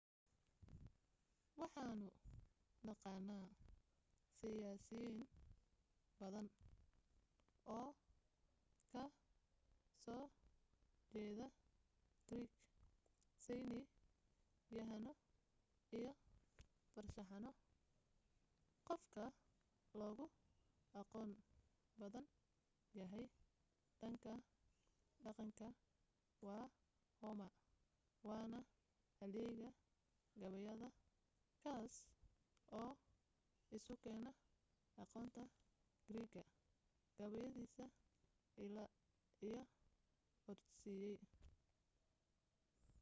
waxanu naqaana siyaasiyiin badan oo ka soo jeeda greek sayni yahaano iyo farshaxano qof ka loogu aqoon badan yahay dhan ka dhaqanka waa homer waana halyeeyga gabayada kaas oo isu keena aqoonta greek ga gabayadiisa iliad iyo odyssey